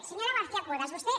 senyora garcia cuevas vostè